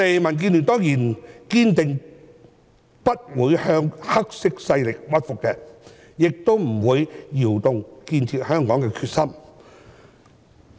民建聯當然堅定不會向"黑色勢力"屈服，亦不會動搖建設香港的決心。